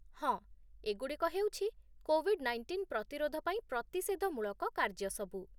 ହଁ, ଏଗୁଡ଼ିକ ହେଉଛି କୋଭିଡ୍ ନାଇଣ୍ଟିନ୍ ପ୍ରତିରୋଧ ପାଇଁ ପ୍ରତିଷେଧମୂଳକ କାର୍ଯ୍ୟସବୁ